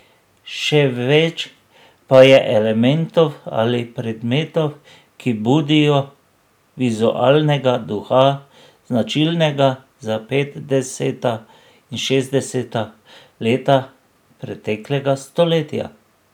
Še več pa je elementov ali predmetov, ki budijo vizualnega duha, značilnega za petdeseta in šestdeseta leta preteklega stoletja.